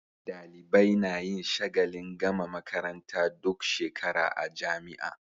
Dalibai nayin shagalin gama makaranta duk shekara a jamia